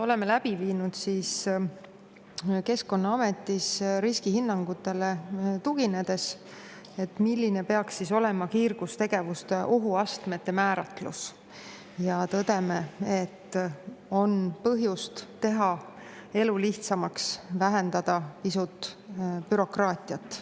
Oleme läbi viinud Keskkonnaametis riskihinnangutele tuginedes, milline peaks olema kiirgustegevuste ohuastmete määratlus, ja tõdeme, et on põhjust teha elu lihtsamaks, vähendada pisut bürokraatiat.